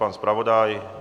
Pan zpravodaj?